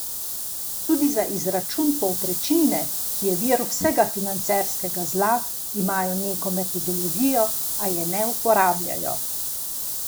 Tudi za izračun povprečnine, ki je vir vsega financerskega zla, imajo neko metodologijo, a je ne uporabljajo.